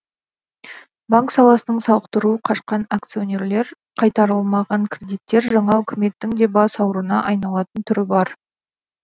банк саласының сауықтыру қашқан акционерлер қайтарылмаған кредиттер жаңа үкіметтің де бас ауруына айналатын түрі бар